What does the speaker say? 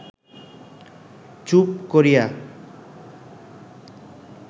চুপ করিয়া